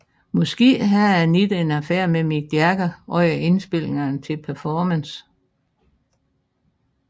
Måske havde Anita en affære med Mick Jagger under indspilningerne til Performance